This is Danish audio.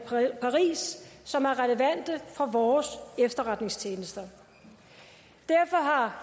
i paris som er relevante for vores efterretningstjenester derfor har